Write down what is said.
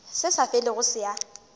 se sa felego se a